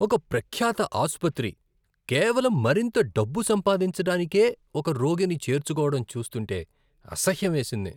ఒక ప్రఖ్యాత ఆసుపత్రి కేవలం మరింత డబ్బు సంపాదించడానికే ఒక రోగిని చేర్చుకోవడం చూస్తుంటే అసహ్యం వేసింది.